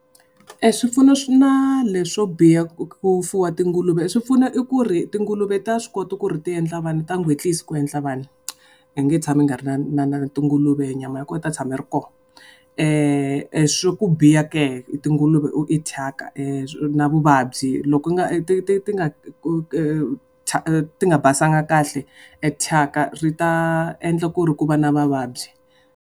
E swipfuno swi na leswo biha ku ku fuwa tinguluve swi pfuno i ku ri tinguluve ta swi kota ku ri ti endla vana ta ku endla vana. U nge tshami u nga ri na na na tinguluve nyama ya kona yi ta tshama yi ri kona. Swa ku biha ke hi tinguluve i thyaka na vuvabyi, loko u nga ti ti ti nga ti nga basanga kahle thyaka ri ta endla ku ri ku va na mavabyi.